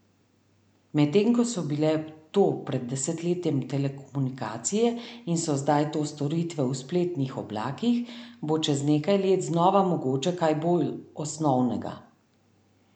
Medtem ko so bile to pred desetletjem telekomunikacije in so zdaj to storitve v spletnih oblakih, bo čez nekaj let znova mogoče kaj bolj osnovnega.